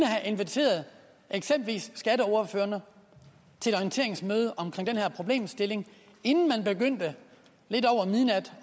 have inviteret eksempelvis skatteordførerne til et orienteringsmøde om den her problemstilling inden man lidt over midnat